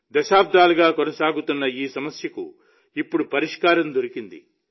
దశాబ్దాలుగా కొనసాగుతున్న ఈ సమస్యకు ఇప్పుడు పరిష్కారం దొరికింది